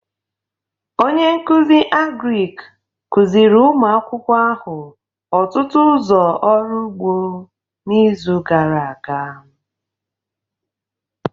Onye nkuzi Agric kuziri ụmụ akwụkwọ ahụ ọtụtụ ụzọ ọrụ ugbo n'izu gara aga